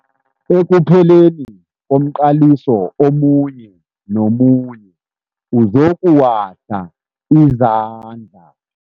Ekupheleni komqaliso omunye nomunye uzokuwahla izandla.